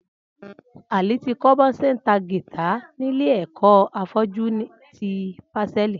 Ali ti kọ̀ bọ ṣé n tá gìtá nilé ẹkọ áfọ̀jù ti pásẹ̀lí